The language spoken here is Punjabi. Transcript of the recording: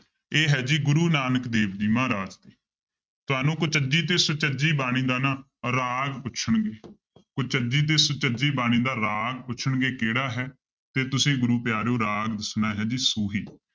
ਇਹ ਹੈ ਜੀ ਗੁਰੂ ਨਾਨਕ ਦੇਵ ਜੀ ਮਹਾਰਾਜ ਤੁਹਾਨੂੰ ਕੁਚਜੀ ਤੇ ਸੁਚਜੀ ਬਾਣੀ ਦਾ ਨਾ ਰਾਗ ਪੁੱਛਣਗੇ ਕੁਚਜੀ ਤੇ ਸੁਚਜੀ ਬਾਣੀ ਦਾ ਰਾਗ ਪੁੱਛਣਗੇ ਕਿਹੜਾ ਹੈ ਤੇ ਤੁਸੀਂ ਗੁਰੂ ਪਿਆਰਿਓ ਰਾਗ ਦੱਸਣਾ ਹੈ ਜੀ ਸੂਹੀ